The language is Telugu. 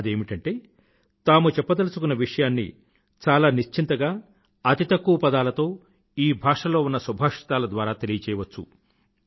అదేమిటంటే తాము చెప్పదలుచుకున్న విషయాన్ని చాలా నిశ్చితంగా అతి తక్కువ పదాలతో ఈ భాషలో ఉన్న సుభాషితాల ద్వారా తెలియచేయవచ్చు